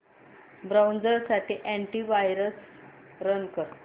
browser साठी antivirus run कर